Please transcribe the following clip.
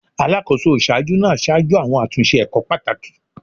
Alakoso iṣaaju naa ṣaju awọn atunṣe ẹkọ pataki